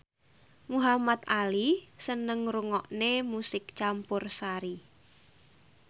Muhamad Ali seneng ngrungokne musik campursari